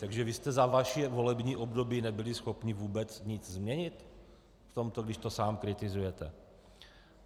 Takže vy jste za vaše volební období nebyli schopni vůbec nic změnit v tomto, když to sám kritizujete?